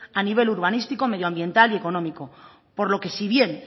a nivel urbanístico medioambiental y económico por lo que si bien